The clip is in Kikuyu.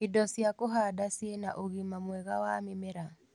Indo cia kũhanda cĩĩna ũgima mwega wa mĩmera